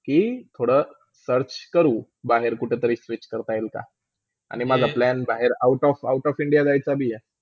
ही, थोडा search करू बाहेर कुठेतरी switch करता येईलका आणि माझा plan बाहेर Out of -out of India जायचं भी आहे.